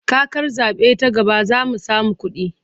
Kakar zaɓe ta gaba za mu samu kuɗi.